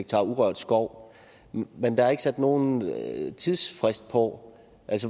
urørt skov men der er ikke sat nogen tidsfrist på